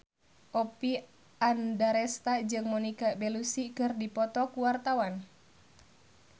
Oppie Andaresta jeung Monica Belluci keur dipoto ku wartawan